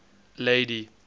lady